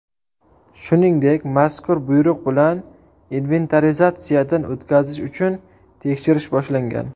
Shuningdek, mazkur buyruq bilan inventarizatsiyadan o‘tkazish uchun tekshirish boshlangan.